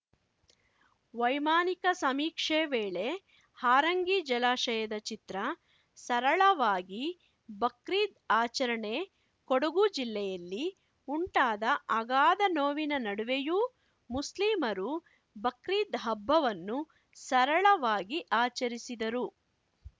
ವೈಮಾನಿಕ ಸಮೀಕ್ಷೆ ವೇಳೆ ಹಾರಂಗಿ ಜಲಾಶಯದ ಚಿತ್ರ ಸರಳವಾಗಿ ಬಕ್ರೀದ್‌ ಆಚರಣೆ ಕೊಡಗು ಜಿಲ್ಲೆಯಲ್ಲಿ ಉಂಟಾದ ಅಗಾಧ ನೋವಿನ ನಡುವೆಯೂ ಮುಸ್ಲಿಮರು ಬಕ್ರೀದ್‌ ಹಬ್ಬವನ್ನು ಸರಳವಾಗಿ ಆಚರಿಸಿದರು